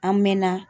An mɛɛnna